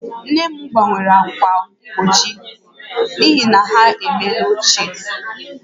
Nne m gbanwere ákwà mgbochi n'ihi na ha emeela ochie